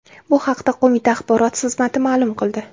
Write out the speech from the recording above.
Bu haqda qo‘mita axborot xizmati ma’lum qildi .